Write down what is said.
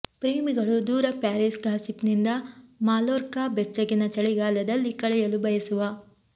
ಪ್ರೇಮಿಗಳು ದೂರ Paris gossip ನಿಂದ ಮಾಲ್ಲೋರ್ಕಾ ಬೆಚ್ಚಗಿನ ಚಳಿಗಾಲದಲ್ಲಿ ಕಳೆಯಲು ಬಯಸುವ